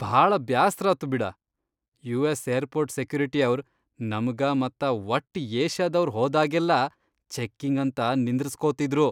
ಭಾಳ ಬ್ಯಾಸ್ರಾತು ಬಿಡ.. ಯು.ಎಸ್. ಏರ್ಪೊರ್ಟ್ ಸೆಕ್ಯುರಿಟಿಯವ್ರ್ ನಮ್ಗ ಮತ್ತ ವಟ್ಟ್ ಏಷ್ಯಾದವ್ರ್ ಹೋದಾಗೆಲ್ಲಾ ಚೆಕ್ಕಿಂಗ್ ಅಂತ ನಿಂದ್ರಸ್ಕೊತಿದ್ರು.